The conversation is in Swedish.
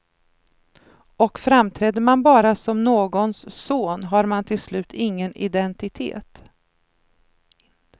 Och framträder man bara som någons son, har man till slut ingen indentitet.